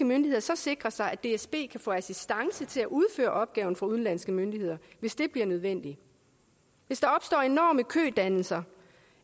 myndigheder så sikre sig at dsb kan få assistance til at udføre opgaven fra udenlandske myndigheder hvis det bliver nødvendigt hvis der opstår enorme kødannelser